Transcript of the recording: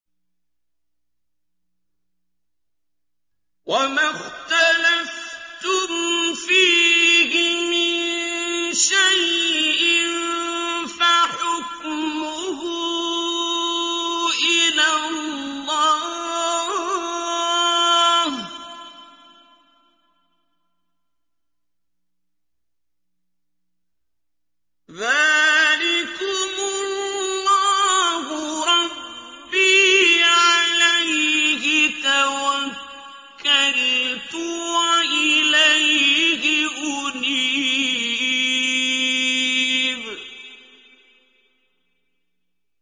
وَمَا اخْتَلَفْتُمْ فِيهِ مِن شَيْءٍ فَحُكْمُهُ إِلَى اللَّهِ ۚ ذَٰلِكُمُ اللَّهُ رَبِّي عَلَيْهِ تَوَكَّلْتُ وَإِلَيْهِ أُنِيبُ